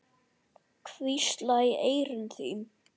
Hvísla í eyru þín.